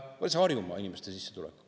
See on Harjumaa inimeste sissetulek.